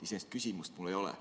Iseenesest küsimust mul ei ole.